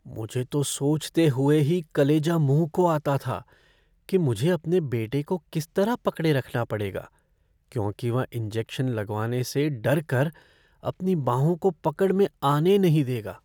मुझे तो सोचते हुए ही कलेजा मुँह को आता था कि मुझे अपने बेटे को किस तरह पकड़े रखना पड़ेगा क्योंकि वह इंजेक्शन लगवाने से डर कर अपनी बाहों को पकड़ में आने नहीं देगा।